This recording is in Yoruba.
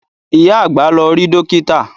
Ìyá àgbà lọ rí Dókítà